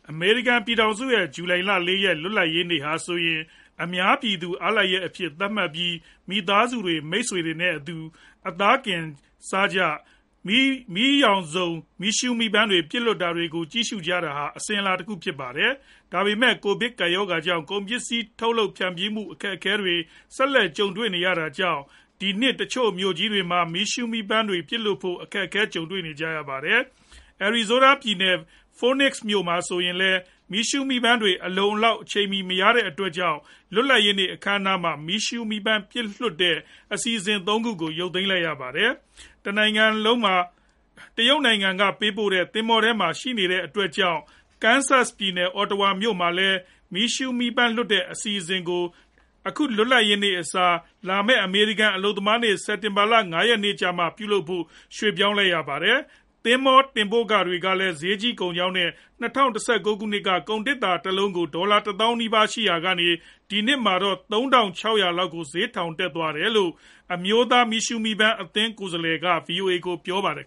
အမေရိကန် ပြည်ထောင်စုရဲ့ ဇူလိုင်လ ၄ ရက် လွတ်လပ်ရေးနေ့ ဟာဆိုရင် အများပြည်သူ အားလပ်ရက်အဖြစ် သတ်မှတ်ပြီး မိသားစုတွေ၊ မိတ်ဆွေတွေနဲ့အတူ အသားကင်စားကြသောက်ကြ၊ ရောင်စုံမီးရှူး မီးပန်းတွေ ပစ်လွှတ်တာကို ကြည့်ရှုကြတာဟာ အစဉ်အလာတခု ဖြစ်ပါတယ်။ ဒါပေမယ့် ကိုဗစ်ကပ်ရောဂါကြောင့် ကုန်ပစ္စည်းထုတ်လုပ် ဖြန့်ဖြူးမှု အခက်အခဲတွေ ဆက်လက် ကြုံနေရတာကြောင့် ဒီနှစ် တချို့မြို့ကြီးတွေမှာ မီးရှူးမီးပန်းတွေကို ပစ်လွှတ်ဖို့ အခက်အခဲကြုံနေရပါတယ်။ Arizona ပြည်နယ်မြို့တော် Phoenix မြို့ဟာလည်း မီးရှူးမီးပန်းတွေ အလုံအလောက် အချိန်မီ မရနိုင်တဲ့အတွက်ကြောင့် လွတ်လပ်ရေးနေ့ အခမ်းအနားမှာ မီးရှူးမီးပန်း ပစ်လွှတ်တဲ့ အဲဒီအစီအစဉ် ၃ခုကို ဖျက်သိမ်းလိုက်ပါတယ်။ တရုတ်နိုင်ငံက ပို့ဆောင်ပေးတဲ့ သင်္ဘောထဲကနေမှာပဲရှိနေသေးတဲ့အတွက်ကြောင့် Kansas ပြည်နယ် Ottawa မြို့မှာလည်း မီးရှူးမီးပန်း လွှတ်တဲ့ အစီအစဉ်ကို အခုလွတ်လပ်ရေးနေ့အစား လာမယ့် အမေရိကန် အလုပ်သမားနေ့ စက်တင်ဘာ ၅ ရက်နေ့ကြမှ ပြုလုပ်ဖို့ ပြောင်းရွေ့လိုက်ပါတယ်။ သင်္ဘောတင်ပို့ခတွေကလည်း ဈေးကြီးကုန်ကြောင်းနဲ့ ၂ဝ၁၉ ခုနှစ်က ကုန်သေတ္တာတလုံးကို ဒေါ် တသောင်းနီးပါးသာရှိရာကနေ ဒီနှစ် ၂ဝ၂၂ မှာတော့ ၃ သောင်း ၆ ထောင်လောက်ကို ဈေးက ထောင်တက်သွားတယ်လို့ အမျိုးသား မီးရှုးမီးပန်း အသင်း NFAရဲ့ ကိုယ်စားလှယ် Larry Farnsworth က VOA ကို ပြောပါတယ်